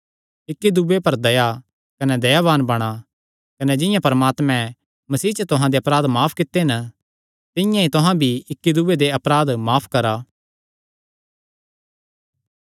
इक्की दूये पर दया कने दयाबान बणा कने जिंआं परमात्मैं मसीह च तुहां दे अपराध माफ कित्ते तिंआं ई तुहां भी इक्की दूये दे अपराध माफ करा